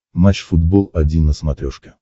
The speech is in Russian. матч футбол один на смотрешке